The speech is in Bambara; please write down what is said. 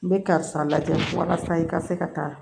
N bɛ karisa lajɛ walasa i ka se ka taa